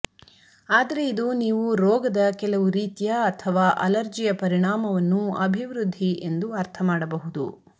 ಆದರೆ ಇದು ನೀವು ರೋಗದ ಕೆಲವು ರೀತಿಯ ಅಥವಾ ಅಲರ್ಜಿಯ ಪರಿಣಾಮವನ್ನು ಅಭಿವೃದ್ಧಿ ಎಂದು ಅರ್ಥ ಮಾಡಬಹುದು